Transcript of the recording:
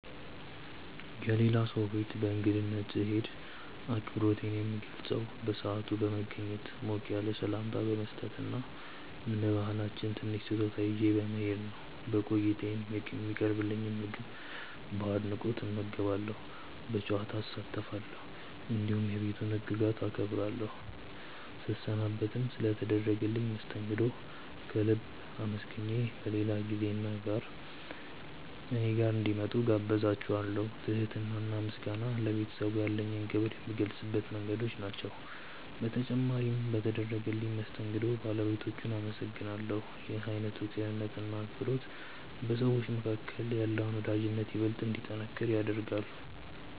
የሌላ ሰው ቤት በእንግድነት ስሄድ አክብሮቴን የምገልጸው በሰዓት በመገኘት፣ ሞቅ ያለ ሰላምታ በመስጠት እና እንደ ባህላችን ትንሽ ስጦታ ይዤ በመሄድ ነው። በቆይታዬም የሚቀርብልኝን ምግብ በአድናቆት እመገባለሁ፣ በጨዋታ እሳተፋለሁ፣ እንዲሁም የቤቱን ህግጋት አከብራለሁ። ስሰናበትም ስለ ተደረገልኝ መስተንግዶ ከልብ አመስግኜ በሌላ ጊዜ እኔ ጋር እንዲመጡ እጋብዛቸዋለው። ትህትና እና ምስጋና ለቤተሰቡ ያለኝን ክብር የምገልጽባቸው መንገዶች ናቸው። በተጨማሪም በተደረገልኝ መስተንግዶ ባለቤቶቹን አመሰግናለሁ። ይህ አይነቱ ቅንነት እና አክብሮት በሰዎች መካከል ያለውን ወዳጅነት ይበልጥ እንዲጠነክር ያደርጋል።